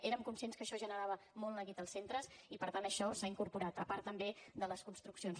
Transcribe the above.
érem conscients que això generava molt neguit als centres i per tant això s’ha incorporat a part també de les construccions